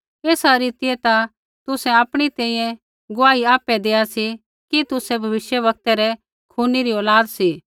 एसा रीतियै ता तुसै आपणी तैंईंयैं गुआही आपै देआ सी कि तुसै भविष्यवक्तै रै खूनी री औलाद सी